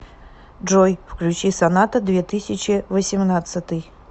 джой включи соната две тысячи восемнадцатый